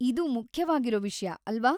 ಇದ್‌ ಮುಖ್ಯವಾಗಿರೋ ವಿಷ್ಯ, ಅಲ್ವ?